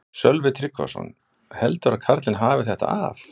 Sölvi Tryggvason: Heldurðu að karlinn hafi þetta af?